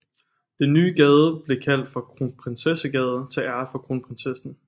Den nye gade blev kaldt for Kronprinsessegade til ære for kronprinsessen